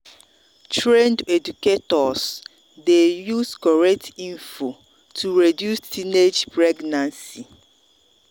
trained educators dey use correct info to reduce teenage pregnancy.